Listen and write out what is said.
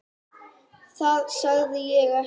Það sagði ég ekki.